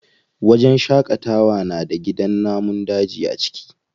Wajen shaƙatawa na da gidan namun daji a ciki.